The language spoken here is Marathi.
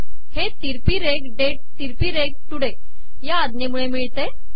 हे तिरपी रेघ डेट तिरपी रेघ टुडे या आज्ञे मुळे मिळते